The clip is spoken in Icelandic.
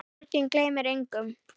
Sorgin gleymir engum.